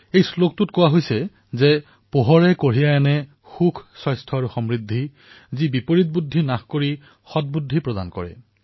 এই শ্লোকত কোৱা হৈছে প্ৰকাশে জীৱনত সুখ স্বাস্থ্য আৰু সমৃদ্ধি কঢ়িয়াই আনে যিয়ে বিপৰীত বুদ্ধি নাশ কৰি সদবুদ্ধি দেখুৱায়